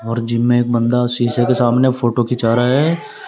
और जिम में एक बंदा शीशे के सामने फोटो खींचा रहा है।